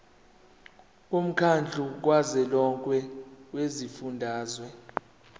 womkhandlu kazwelonke wezifundazwe